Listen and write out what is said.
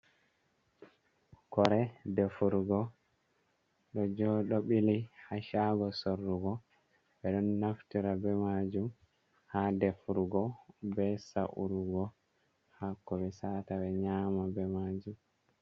Kore defurugo ɗo bili ha cago sorrugo, ɓeɗon naftira be majum ha defurugo be sa’urugo hako ɓe sa'ata ɓe nyama be majum.